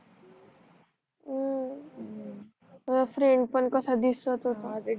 ह फ्रेंड पण कसा दिसत होता